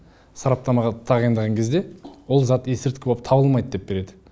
сараптамаға тағайындаған кезде ол зат есірткі болып табылмайды деп береді